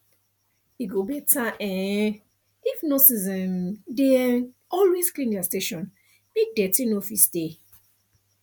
e go better um if nurses um dey um always clean their station make deti no fit stay